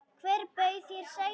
Hver bauð þér sæti?